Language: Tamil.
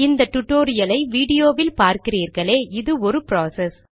இந்த டுடோரியலை விடியோவில் பார்கிறீர்களே இது ஒரு ப்ராசஸ்